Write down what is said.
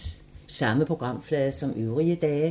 Samme programflade som øvrige dage